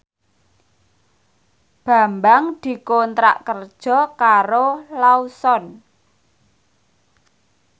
Bambang dikontrak kerja karo Lawson